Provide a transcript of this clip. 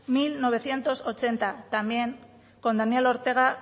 mil novecientos ochenta también con daniel ortega